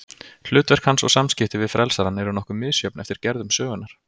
Hlutverk hans og samskipti við frelsarann eru nokkuð misjöfn eftir gerðum sögunnar.